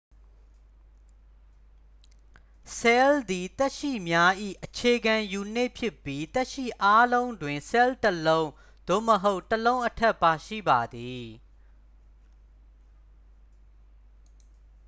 ဆဲလ်သည် သက်ရှိများ၏ အခြေခံယူနစ် ဖြစ်ပြီး သက်ရှိအားလုံးတွင် ဆဲလ် တစ်လုံး သို့မဟုတ် တစ်လုံးအထက် ပါရှိပါသည်